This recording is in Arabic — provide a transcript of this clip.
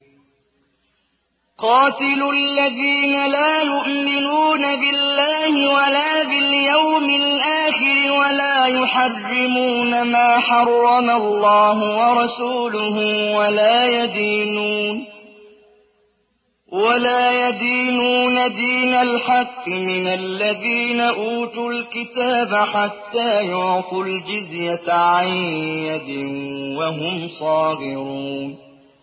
قَاتِلُوا الَّذِينَ لَا يُؤْمِنُونَ بِاللَّهِ وَلَا بِالْيَوْمِ الْآخِرِ وَلَا يُحَرِّمُونَ مَا حَرَّمَ اللَّهُ وَرَسُولُهُ وَلَا يَدِينُونَ دِينَ الْحَقِّ مِنَ الَّذِينَ أُوتُوا الْكِتَابَ حَتَّىٰ يُعْطُوا الْجِزْيَةَ عَن يَدٍ وَهُمْ صَاغِرُونَ